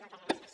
moltes gràcies